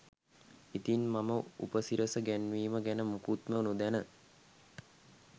ඉතින් මම උපසිරස ගැන්වීම ගැන මුකුත්ම නොදැන